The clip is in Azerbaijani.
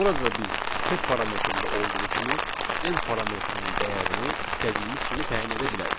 Burada da biz sep parametrində olduğu kimi N parametrinin dəyərini istədiyimiz kimi təyin edə bilərik.